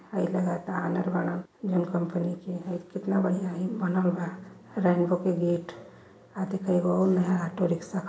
हइ लगता आन्हर बाड़न जॉन कंपनी के हइ केतना बढ़िया हइ बनल बा रैनबो के गेट आ देख एगो अउर नया ऑटो रिक्शा --